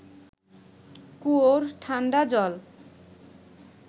কুয়োর ঠান্ডা জল